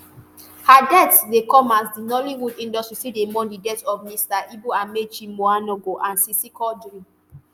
her death dey come as di nollywood industry still dey mourn di death of mr ibu amaechi muonagor and sisi quadri